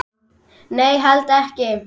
Nei, held ekki.